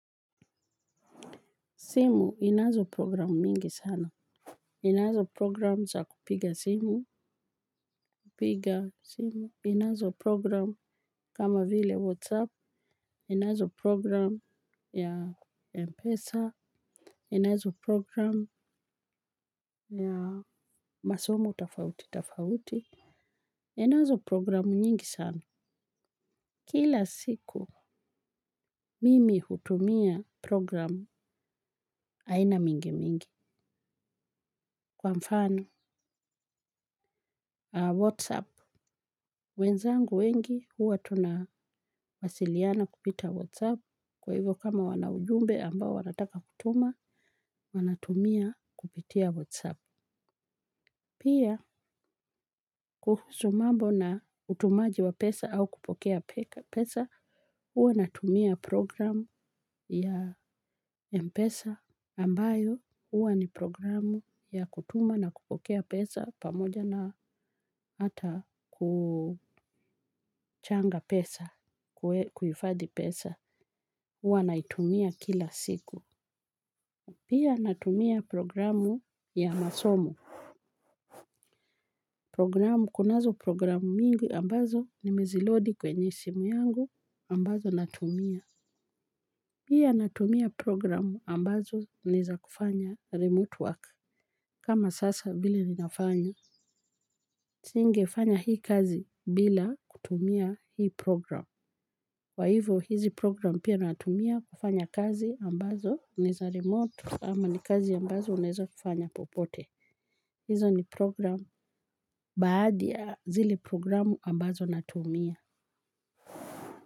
Simu inazo programu mingi sana. Inazo programu za kupiga simu. Kupiga simu. Inazo programu kama vile Whatsapp. Inazo programu ya Mpesa. Inazo programu ya masomo tofauti. Tofauti. Inazo programu nyingi sana. Kila siku mimi hutumia programu aina mingi mingi. Kwa mfano Whatsapp. Wenzangu wengi huwa tunawasiliana kupita WhatsApp kwa hivyo kama wana ujumbe ambao wanataka kutuma wanatumia kupitia WhatsApp. Pia kuhusu mambo na utumaji wa pesa au kupokea pesa, huwa natumia programu ya mpesa ambayo huwa ni programu ya kutuma na kupokea pesa pamoja na hata kuchanga pesa kuhifadhi pesa huwa naitumia kila siku. Pia natumia programu ya masomo. Programu, kunazo programu mingi ambazo nimezilodi kwenye simu yangu ambazo natumia. Pia natumia programu ambazo niza kufanya remote work kama sasa vile ninafanya. Singefanya hii kazi bila kutumia hii programu. Kwa hivo hizi program pia natumia kufanya kazi ambazo ni za remote ama ni kazi ambazo unaeza kufanya popote. Hizo ni program baadhi ya zile programu ambazo ninazitumia.